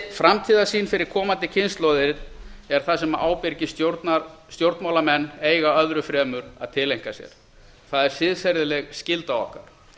framtíðarsýn fyrir komandi kynslóðir er það sem ábyrgir stjórnmálamenn eiga öðru fremur að tileinka sér það er siðferðileg skylda okkar